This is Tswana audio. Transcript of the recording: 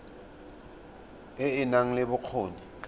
e e nang le bokgoni